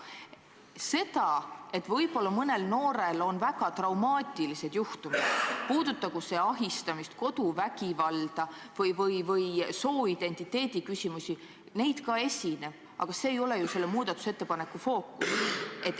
See, et võib-olla mõnel noorel on väga traumaatilisi kogemusi, puudutagu need ahistamist, koduvägivalda või sooidentiteedi küsimusi – jah, ka neid esineb, aga need ei ole ju selle muudatusettepaneku fookuses.